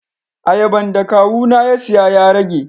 Ayaban da Kawu na ya siya ya rage.